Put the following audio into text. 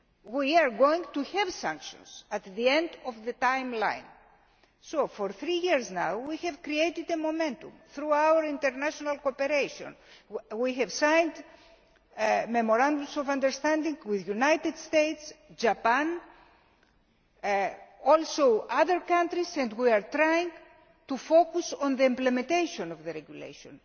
we are going to have sanctions at the end of the time line. For three years now we have created a momentum through our international cooperation. We have signed memorandums of understanding with the United States, Japan and also other countries and we are trying to focus on the implementation of the regulation.